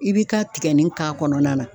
I bi ka tigɛnin k'a kɔnɔna la.